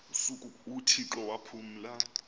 usuku uthixo waphumla